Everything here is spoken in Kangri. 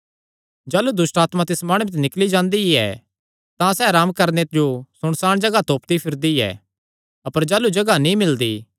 जाह़लू दुष्टआत्मा तिस माणुये ते निकल़ी जांदी ऐ तां सैह़ अराम करणे जो सुनसाण जगाह तोपदी फिरदी ऐ अपर जाह़लू जगाह नीं मिलदी